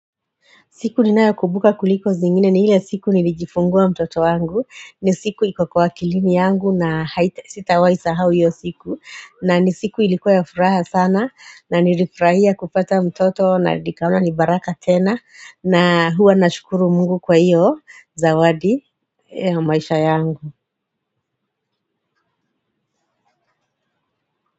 Siku ninayo kumbuka kuliko zingine ni ile siku nilijifungua mtoto wangu. Ni siku iko kwa akilini yangu na sitawai sahau iyo siku. Na ni siku ilikuwa ya furaha sana na nilifurahia kupata mtoto na nikaona ni baraka tena na huwa nashukuru mungu kwa hiyo zawadi ya maisha yangu.